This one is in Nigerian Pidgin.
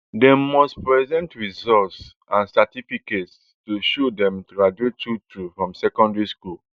dem must present results and certificates to show say dem graduate truetrue from secondary school